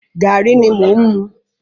Gàrí ni mò ń mu.